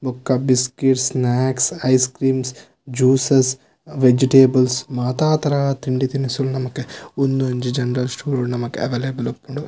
ಬೊಕ್ಕ biscuits snacks ice creams ಸ್ juices vegetables ಮಾತ ತರ ತಿಂಡಿ ತಿನಿಸುಲು ನಮಕ್ ಉಂದೊಂಜಿ ಜನರಲ್ ಸ್ಟೋರ್ಡು ನಮಕ್ ಅವೈಲೇಬಲ್ ಇಪ್ಪುಂಡು.